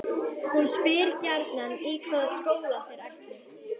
Hún spyr gjarnan í hvaða skóla þeir ætli.